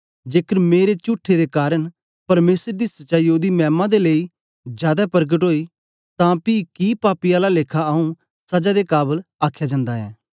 जेकर मेरे चुठे दे कारन परमेसर दी सच्चाई ओदी मैमा दे लेई जादै परकट ओई तां पी की पापी आला लेखा आंऊँ सजा दे काबल आखया जंदा ऐ